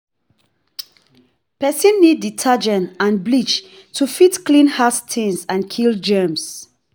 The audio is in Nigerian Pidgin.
Person need detergent and bleach to fit clean hard stains and kill germs